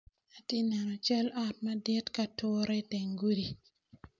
Atye ka neno cal ot madit ki ature iteng gudi.